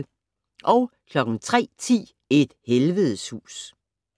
03:10: Et helvedes hus